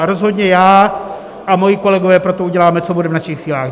A rozhodně já a moji kolegové pro to uděláme, co bude v našich silách.